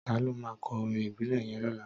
Tàló mà kò órìn ibilè yèn lòlá?